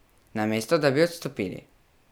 Namesto, da bi odstopili.